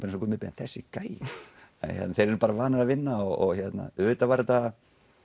eins og Gummi Ben þessi gæi þeir eru bara vanir að vinna og auðvitað var þetta